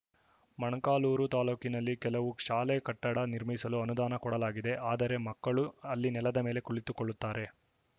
ಮೊಳಕಾಲ್ಮುರು ತಾಲೂಕಿನಲ್ಲಿ ಕೆಲವು ಶಾಲೆ ಕಟ್ಟಡ ನಿರ್ಮಿಸಲು ಅನುದಾನ ಕೊಡಲಾಗಿದೆ ಆದರೆ ಮಕ್ಕಳು ಅಲ್ಲಿ ನೆಲದ ಮೇಲೆ ಕುಳಿತುಕೊಳ್ಳುತ್ತಾರೆ